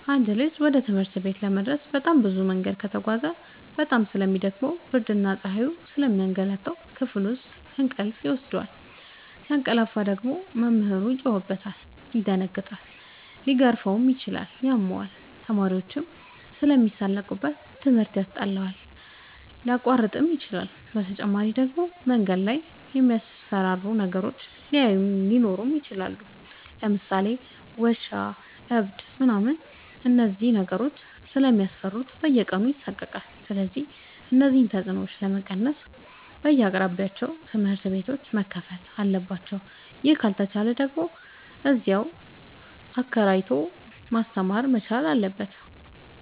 አንድ ልጅ ወደ ትምህርት ቤት ለመድረስ በጣም ብዙ መንገድ ከተጓዘ በጣም ስለሚ ደክመው ብርድና ፀሀዩ ስለሚያገላታው። ክፍል ሲገባ እንቅልፍ ይወስደዋል። ሲያቀላፍ ደግሞ መምህሩ ይጮህበታል ይደነግጣል ሊገረፍም ይችላል ያመዋል፣ ተማሪዎችም ስለሚሳለቁበት ትምህርት ያስጠላዋል፣ ሊያቋርጥም ይችላል። በተጨማሪ ደግሞ መንገድ ላይ የሚያስፈራሩ ነገሮች ሊኖሩ ይችላሉ ለምሳሌ ውሻ እብድ ምናምን እነዚህን ነገሮች ስለሚፈራ በየቀኑ ይሳቀቃል። ስለዚህ እነዚህን ተፅኖዎች ለመቀነስ በየአቅራቢያው ትምህርት ቤቶዎች መከፈት አለባቸው ይህ ካልተቻለ ደግሞ እዚያው አከራይቶ ማስተማር መቻል አለበት።